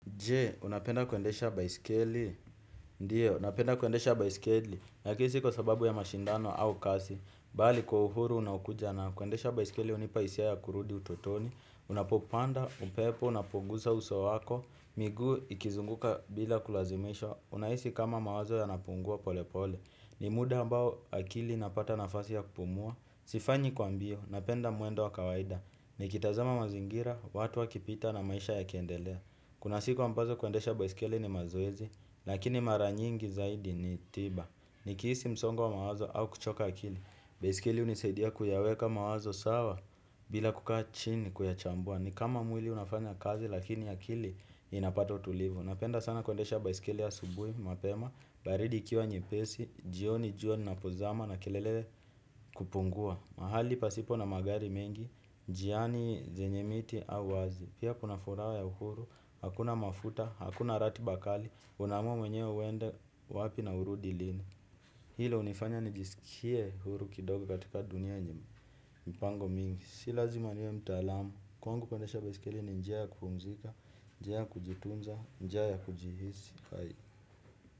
Je, unapenda kuendesha baiskeli? Ndio, napenda kuendesha baisikeli. Lakini si kwa sababu ya mashindano au kasi. Bali kwa uhuru unaokuja nao kuendesha baiskeli hunipa hisia ya kurudi utotoni. Unapopanda, upepo, unapogusa uso wako. Miguu ikizunguka bila kulazimishwa. Unahisi kama mawazo yanapungua pole pole. Ni muda ambao akili inapata nafasi ya kupumua. Sifanyi kwa mbio, napenda mwendo wa kawaida. Nikitazama mazingira, watu wakipita na maisha yakiendelea. Kuna siku ambazo kuendesha baiskeli ni mazoezi, lakini mara nyingi zaidi ni tiba. Nikihisi msongo wa mawazo au kuchoka akili. Baiskeli hunisaidia kuyaweka mawazo sawa bila kukaa chini kuyachambua. Ni kama mwili unafanya kazi lakini akili inapata utulivu. Napenda sana kuendesha baiskeli asubuhi, mapema, baridi ikiwa nyepesi, jioni, linapozama na kelele kupungua. Mahali pasipo na magari mengi, njiani zenye miti au wazi. Pia kuna furaha ya uhuru, hakuna mafuta, hakuna ratiba kali. Unaamua mwenyewe uende wapi na urudi lini. Hilo hunifanya nijisikie huru kidogo katika dunia yenye mipango mingi, si lazima niwe mtaalamu. Kwangu kuendesha baiskeli ni njia ya kumpumzika, njia ya kujitunza, nija ya kujihisi.